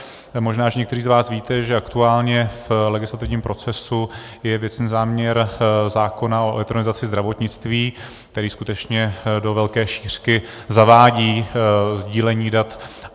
Možná že někteří z vás víte, že aktuálně v legislativním procesu je věcný záměr zákona o elektronizaci zdravotnictví, který skutečně do velké šířky zavádí sdílení dat.